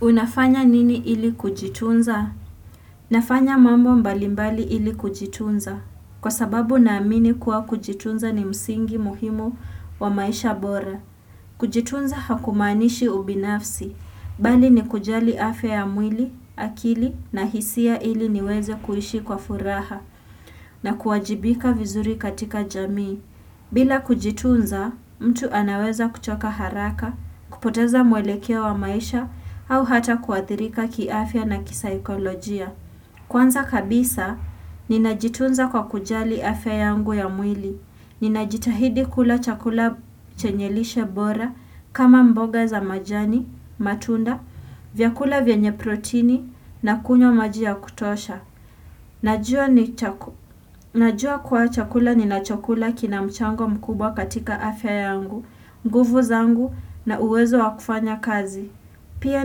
Unafanya nini ili kujitunza? Nafanya mambo mbalimbali ili kujitunza. Kwa sababu naamini kuwa kujitunza ni msingi muhimu, wa maisha bora. Kujitunza hakumaanishi ubinafsi. Bali ni kujali afya ya mwili, akili na hisia ili niweze kuishi kwa furaha. Na kuwajibika vizuri katika jamii. Bila kujitunza, mtu anaweza kuchoka haraka, kupoteza mwelekea wa maisha, au hata kuathirika kiafya na kisaikolojia. Kwanza kabisa, ninajitunza kwa kujali afya yangu ya mwili. Ninajitahidi kula chakula chenye lishe bora, kama mboga za majani, matunda, vyakula vyenye protini, na kunywa maji ya kutosha. Najua ni Najua kuwa chakula ninachokula kina mchango mkubwa katika afya yangu, nguvu zangu na uwezo wakufanya kazi. Pia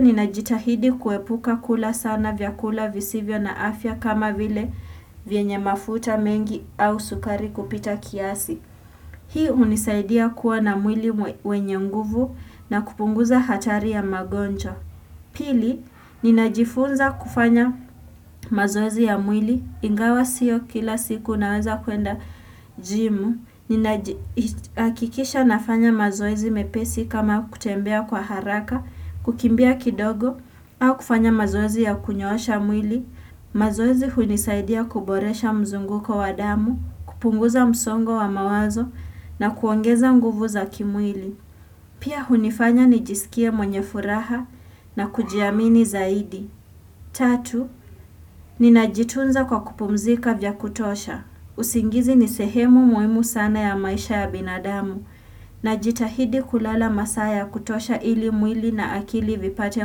ninajitahidi kuepuka kula sana vyakula visivyo na afya kama vile vyenye mafuta mengi au sukari kupita kiasi. Hii hunisaidia kuwa na mwili wenye nguvu na kupunguza hatari ya magonjwa. Pili, ninajifunza kufanya mazoezi ya mwili, ingawa sio kila siku naweza kwenda gym, ninaji hakikisha nafanya mazoezi mepesi kama kutembea kwa haraka, kukimbia kidogo, au kufanya mazoezi ya kunyoosha mwili. Mazoezi hunisaidia kuboresha mzunguko wa damu, kupunguza msongo wa mawazo, na kuongeza nguvu za kimwili. Pia hunifanya nijisikie mwenye furaha, na kujiamini zaidi. Tatu, ninajitunza kwa kupumzika vya kutosha. Usingizi ni sehemu muhimu sana ya maisha ya binadamu. Najitahidi kulala masaa ya kutosha ili mwili na akili vipate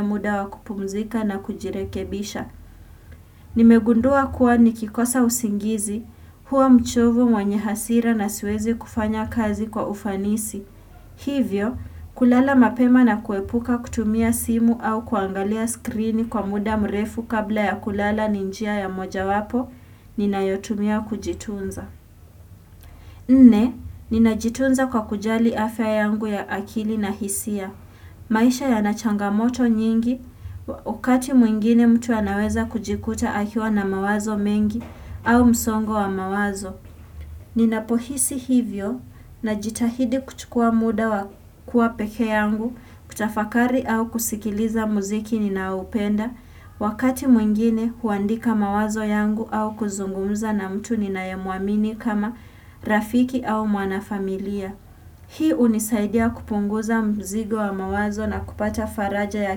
muda wa kupumzika na kujirekebisha. Nimegundua kuwa nikikosa usingizi huwa mchovu, mwenye hasira na siwezi kufanya kazi kwa ufanisi. Hivyo, kulala mapema na kuepuka kutumia simu au kuangalia screen kwa muda mrefu kabla ya kulala ni njia ya mojawapo, ninayotumia kujitunza. Nne, ninajitunza kwa kujali afya yangu ya akili na hisia. Maisha yana changamoto nyingi. Wakati mwingine mtu anaweza kujikuta akiwa na mawazo mengi, au msongo wa mawazo. Ninapohisi hivyo, najitahidi kuchukua muda wa kuwa peke yangu, kutafakari au kusikiliza muziki ninaoupenda. Wakati mwingine huandika mawazo yangu au kuzungumza na mtu ninayemuamini kama rafiki au mwanafamilia. Hii hunisaidia kupunguza mzigo wa mawazo na kupata faraja ya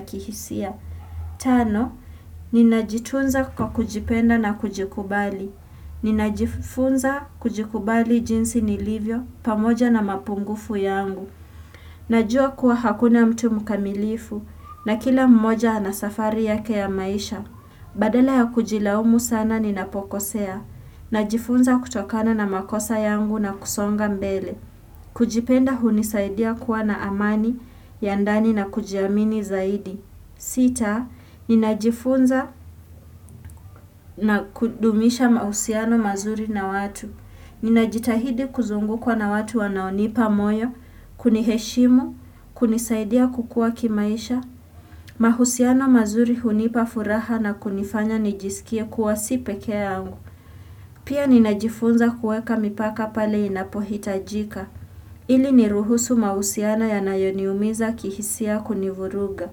kihisia. Tano, ninajitunza kwa kujipenda na kujikubali. Ninajifunza kujikubali jinsi nilivyo, pamoja na mapungufu yangu. Najua kuwa hakuna mtu mkamilifu, na kila mmoja ana safari yake ya maisha. Badala ya kujilaumu sana ninapokosea. Najifunza kutokana na makosa yangu na kusonga mbele. Kujipenda hunisaidia kuwa na amani ya ndani na kujiamini zaidi. Sita, ninajifunza na kudumisha mahusiano mazuri na watu. Ninajitahidi kuzungukwa na watu wanaonipa moyo, kuniheshimu, kunisaidia kukua kimaisha, mahusiano mazuri hunipa furaha na kunifanya nijisikie kuwa si peke yangu. Pia ninajifunza kuweka mipaka pale inapohitajika, ili niruhusu mahusiano yanayoniumiza kihisia kunivuruga.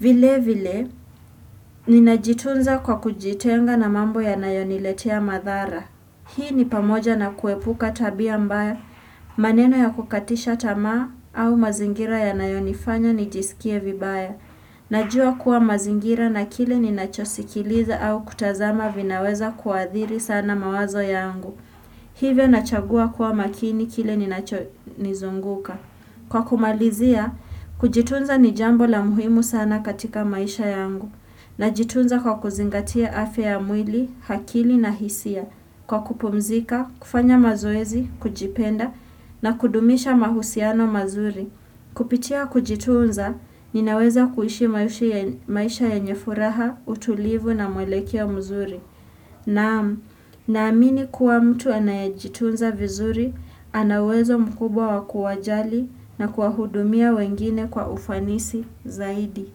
Vile vile, ninajitunza kwa kujitenga na mambo yanayoniletea madhara. Hii ni pamoja na kuepuka tabia mbaya, maneno ya kukatisha tamaa au mazingira yanayo nifanya nijisikie vibaya. Najua kuwa mazingira na kile ninacho sikiliza au kutazama vinaweza kuadhiri sana mawazo yangu. Hivyo nachagua kuwa makini kile ninacho nizunguka. Kwa kumalizia, kujitunza ni jambo la muhimu sana katika maisha yangu. Najitunza kwa kuzingatia afya ya mwili, akili na hisia. Kwa kupumzika, kufanya mazoezi, kujipenda na kudumisha mahusiano mazuri. Kupitia kujitunza, ninaweza kuishi maisha yenye furaha, utulivu na mwelekeo mzuri. Naam, naamini kuwa mtu anayejitunza vizuri, ana uwezo mkubwa wa kuwajali na kuwahudumia wengine kwa ufanisi zaidi.